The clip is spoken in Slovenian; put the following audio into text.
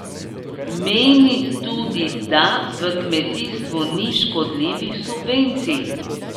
Meni tudi, da v kmetijstvu ni škodljivih subvencij.